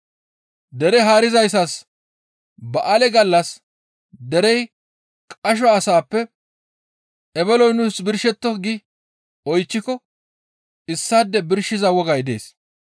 Dere haarizayssas ba7aale gallas derey qasho asaappe, «Ebeloy nuus birshetto!» gi oychchiko issaade birshiza wogay dees.